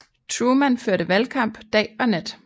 Truman førte valgkamp dag og nat